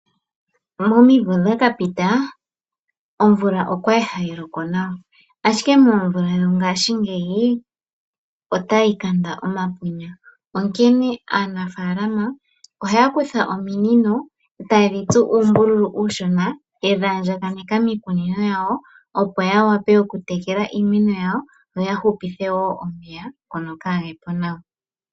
Momimvo dha ka pita omvula okwali hayi loko nawa. Ashike moomvula dhongaashingeyi otayi kanda omapunya. Onkene aanafaalama ohaya kutha ominino etaye dhi tsu uumbululu uushona yedhi andjaganeka miikunino yawo opo ya vule okutekela iimeno yawo noya hupithe wo omeya ngono kaage po nawa.